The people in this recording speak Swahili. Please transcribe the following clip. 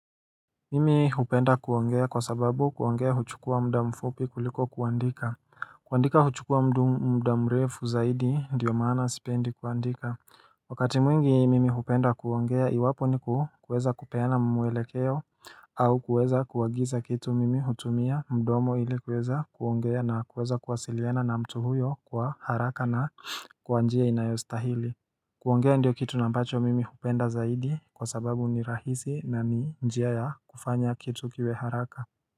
Mimi hupenda kuongea kwa sababu kuongea huchukua mda mfupi kuliko kuandika kuandika huchukua mda mrefu zaidi ndio maana sipendi kuandika Wakati mwingi mimi hupenda kuongea iwapo ni kuweza kupena mwelekeo au kuweza kuagiza kitu mimi hutumia mdomo ili kuweza kuongea na kuweza kwasiliana na mtu huyo kwa haraka na kwa njia inayostahili kuongea ndio kitu na ambacho mimi hupenda zaidi kwa sababu ni rahisi na ni njia ya kufanya kitu kiwe haraka.